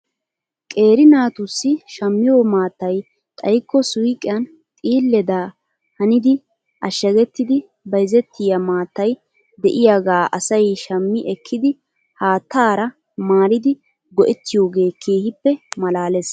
Qeeri naatussi shammiyoo maattay xayikko suyqiyan xiileda hanidi ashshagettidi bayzettiyaa maattay de'iyaagaa asay shammi ekkidi haattara maaridi go'ettiyoogee keehippe malaales.